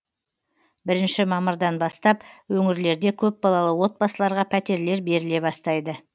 бірінші мамырдан бастап өңірлерде көпбалалы отбасыларға пәтерлер беріле бастайды